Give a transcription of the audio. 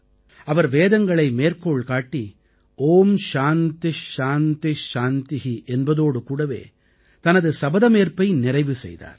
அவர் வேதங்களை மேற்கோள் காட்டி ஓம் சாந்தி சாந்தி சாந்தி என்பதோடு கூடவே தனது சபதமேற்பை நிறைவு செய்தார்